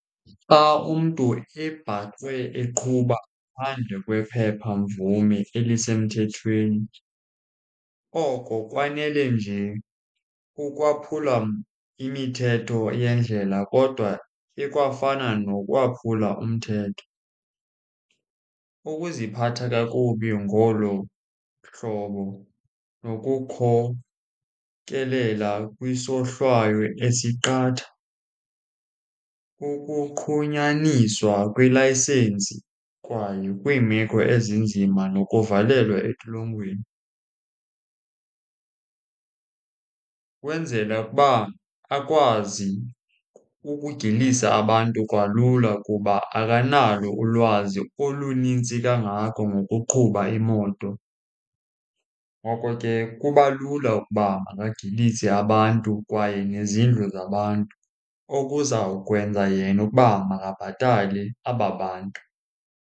Xa umntu ebhaqwe eqhuba ngaphandle kwephepha mvume elisemthethweni, oko kwanele nje ukwaphula imithetho yendlela kodwa ikwafana nokwaphula umthetho. Ukuziphatha kakubi ngolo hlobo nokukhokelela kwisohlwayo esiqatha. Ukuqhunyaniswa kwelayisensi kwaye kwimeko ezinzima nokuvalelwa etolongweni. Kwenzela ukuba akwazi ukugilisa abantu kalula kuba akanalo ulwazi olunintsi kangako ngokuqhuba imoto. Ngoko ke kuba lula ukuba angagilisa abantu kwaye nezindlu zabantu okuzawukwenza yena ukuba makabhatale aba bantu.